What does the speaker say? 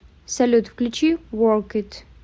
салют включи ворк ит